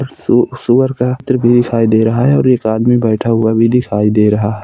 सु सुअर का दिखाई दे रहा है और एक आदमी भी बैठा हुआ दिखाई दे रहा है।